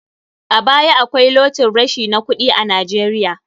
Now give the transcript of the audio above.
A baya akwai locin rashi na kuɗi a Najeiya.